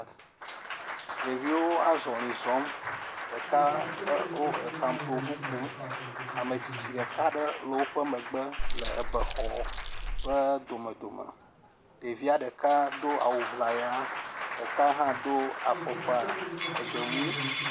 Ɖeviwo azɔli zɔm. Ɖeka wo er pamploŋu kum. Ame tsitsi ɖeka aɖe le woƒe megbe le be xɔ ƒe domedome. Ɖevia ɖeka do awu ŋlaya, ɖeka hã do afukpɔ egbe mui.